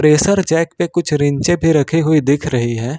Pressure jack पर कुछ range पर रखी हुई दिख रही है।